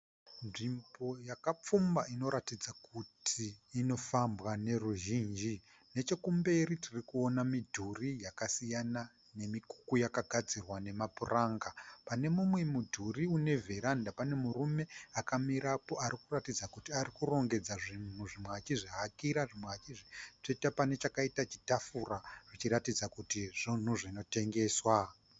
Nzvimbo yakapfumba inoratidza kuti inofambwa neruzhinji. Nechekumberi, tiri kuona midhuri yakasiyana nemikuku yakagadzirwa nemapuranga. Pane mumwe mudhuri une veranda pane murume akamirapo ari kuratidza kuti ari kurongedza zvinhu zvimwe achizvihakira zvimwe achizvitsveta pane chakaita chitafura achiratidza kuti zvunhu zvinotengeswa.